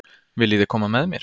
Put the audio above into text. Viljiði koma með mér?